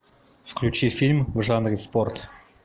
включи фильм в жанре спорт